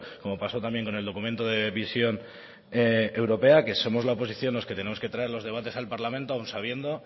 como paso también con el documento de visión europea que somos la oposición los que tenemos que traer los debates al parlamento aun sabiendo